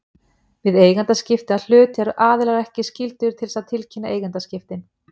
Við eigendaskipti að hlut eru aðilar ekki skyldir til þess að tilkynna eigendaskiptin.